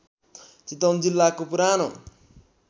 चितवन जिल्लाको पुरानो